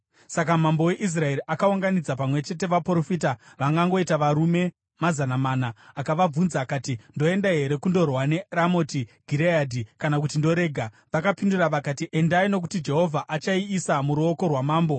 Saka mambo weIsraeri akaunganidza pamwe chete, vaprofita, vangangoita varume mazana mana, akavabvunza akati, “Ndoenda here kundorwa neRamoti Gireadhi, kana kuti ndoregera?” Vakapindura vakati, “Endai nokuti Jehovha achaiisa muruoko rwamambo.”